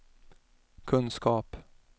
kunskap